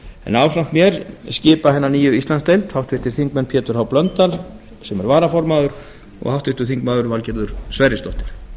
en ásamt mér skipa hina nýju íslandsdeild háttvirtur þingmaður pétur h blöndal sem er varaformaður og háttvirtur þingmaður valgerður sverrisdóttir